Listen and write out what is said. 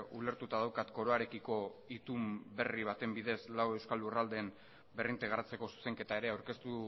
ulertuta daukat koroarekiko itun berri baten bidez lau euskal lurraldeen berrintegratzeko zuzenketa ere aurkeztu